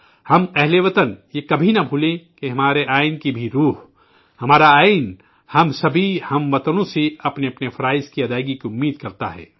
ہم اہل وطن یہ کبھی نہ فراموش کریں کہ ہمارے آئین کا بھی بنیادی جذبہ، ہمارا آئین ہم سبھی اہل وطن سے اپنے اپنے فرائض کی انجام دہی کی توقع رکھتا ہے